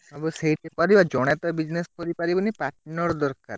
ସବୁ ସେଇଠି କରିବା ଜଣେ ତ business କରିପାରିବନି partner ଦରକାର।